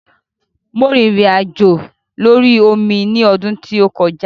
Mo rìnrìn àjò lórí omi ní ọdún tí ó kọjá.